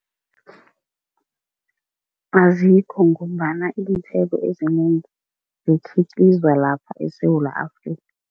Azikho ngombana iinthelo ezinengi zikhiqizwa lapha eSewula Afrika.